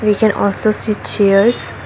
we can also sit chairs.